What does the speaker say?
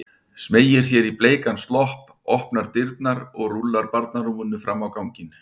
Smeygir sér í bleikan slopp, opnar dyrnar og rúllar barnarúminu fram á ganginn.